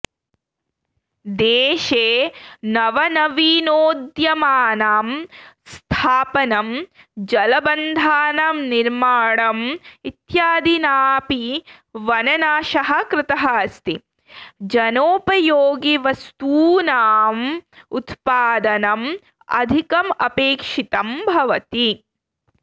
देशे नवनवीनोद्यमानां स्थापनं जलबन्धानां निर्माणम् इत्यादिनापि वननाशः कृतः अस्ति जनोपयोगिवस्तूनां उत्पादनम् अधिकम् अपेक्षितं भवति